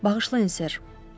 Bağışlayın, Sir, o dedi.